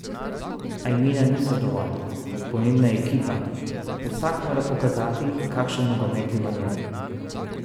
A imena niso dovolj, pomembna je ekipa, vsak mora pokazati, kakšen nogomet je v njem.